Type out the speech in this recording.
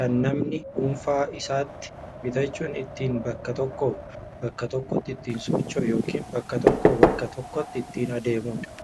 kan namni dhuunfaa isaatti bitachuun ittiin bakka tokkoo bakka tokkotti ittiin socho'uu ykn bakka tokkoo bakka tokkotti ittiin adeemuudha